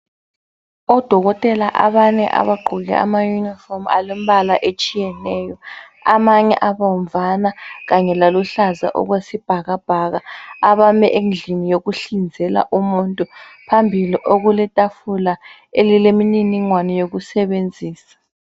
Odokotela abane abagqoke amayunifomu alombala etshiyeneyo. Amanye abomvana kanye laluhlaza okwesibhakabhaka, abame endlini yokuhlinzela umuntu. Phambili okuletafula elilemininingwane yokusebenzisa.